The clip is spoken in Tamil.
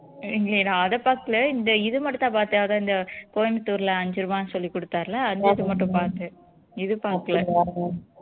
இல்லையே நான் அதை பாக்கல இந்த இது மட்டும் தான் பாத்தேன் அதான் இந்த கோயமுத்தூர்ல அஞ்சு ரூவான்னு சொல்லி கொடுத்தாருல்ல அந்த இது மட்டும் பாத்தேன் இது பாக்கல